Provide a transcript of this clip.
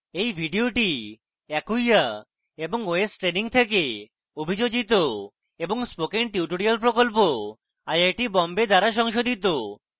এই video acquia এবং ostraining থেকে অভিযোজিত এবং spoken tutorial প্রকল্প আইআইটি বোম্বে দ্বারা সংশোধিত